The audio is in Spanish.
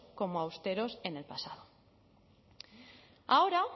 como austeros en el pasado ahora